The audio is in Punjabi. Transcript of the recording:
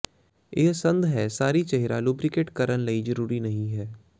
ਇਹ ਸੰਦ ਹੈ ਸਾਰੀ ਚਿਹਰਾ ਲੁਬਰੀਕੇਟ ਕਰਨ ਲਈ ਜ਼ਰੂਰੀ ਨਹੀ ਹੈ